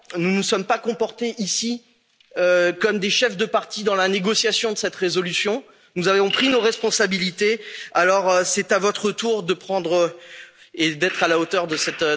européens. Nous ne nous sommes pas comportés, ici, comme des chefs de partis dans la négociation de cette résolution, nous avons pris nos responsabilités, alors c'est à votre tour d'être à la